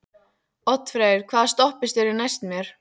Oddfreyr, hvaða stoppistöð er næst mér?